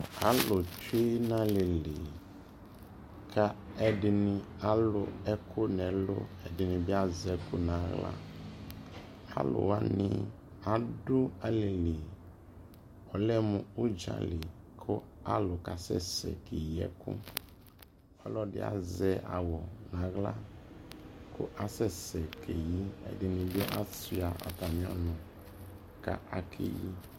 alʋ twʋ nʋ alili ku ɛdini alʋ ɛkʋ nʋ ɛlʋ, ɛdini bi azɛ ɛkʋ nʋ ala, alʋ wani adu alili, ɔlɛmʋ ʋdzali kʋ alʋ kasɛsɛ kɛ yi ɛkʋ, ɔlɔdi azɛ awʋ nʋ ala kʋ asɛ sɛ kɛ yi, ɛdini bi asua atami ɔnʋ kʋ akɛyi